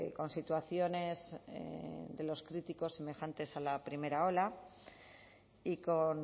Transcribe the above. con situaciones de los críticos semejantes a la primera ola y con